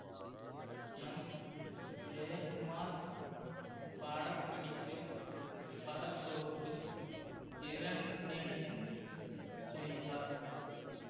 M Jayakumar படப்பிடிப்பு பட தொகுப்பு இரண்டினையும் செய்தார்